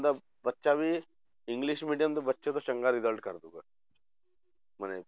ਦਾ ਬੱਚਾ ਵੀ english medium ਦੇ ਬੱਚੇ ਤੋਂ ਚੰਗਾ result ਕਰ ਦਊਗਾ ਮਨੇ